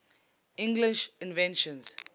english inventions